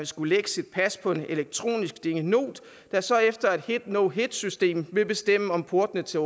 skulle lægge sit pas på en elektronisk dingenot der så efter et hit no hit system vil bestemme om porten til